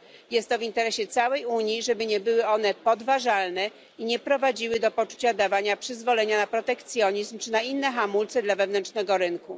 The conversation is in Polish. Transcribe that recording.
Jest to w interesie całej Unii, żeby nie były one podważalne i nie prowadziły do poczucia dawania przyzwolenia na protekcjonizm czy na inne hamulce dla wewnętrznego rynku.